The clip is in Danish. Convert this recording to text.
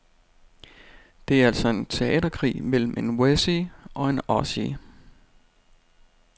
Det er altså en teaterkrig mellem en wessie og en ossie.